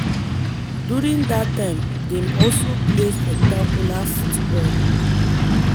during dat time dem also play spectacular football.